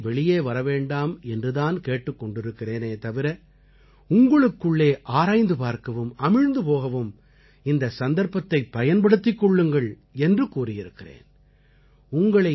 நான் உங்களை வெளியே வரவேண்டாம் என்று தான் கேட்டுக் கொண்டிருக்கிறேனே தவிர உங்களுக்குள்ளே ஆராய்ந்து பார்க்கவும் அமிழ்ந்து போகவும் இந்தச் சந்தர்ப்பத்தைப் பயன்படுத்திக் கொள்ளுங்கள் என்று கூறியிருக்கிறேன்